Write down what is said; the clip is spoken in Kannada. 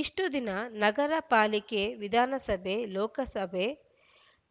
ಇಷ್ಟುದಿನ ನಗರ ಪಾಲಿಕೆ ವಿಧಾನಸಭೆ ಲೋಕಸಭೆ